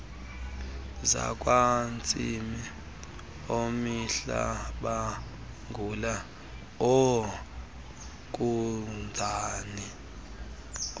zakwantsimi oomihlabangula oozinkunzane